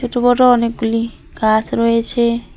ছোট বড় অনেকগুলি গাস রয়েসে।